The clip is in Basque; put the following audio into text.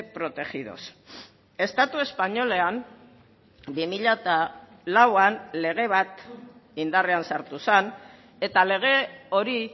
protegidos estatu espainolean bi mila lauan lege bat indarrean sartu zen eta lege hori